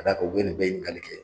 Ka d"a kan u bɛ nin bɛɛ ɲinikalkɛ.